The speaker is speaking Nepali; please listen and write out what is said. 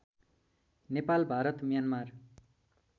नेपाल भारत म्यानमार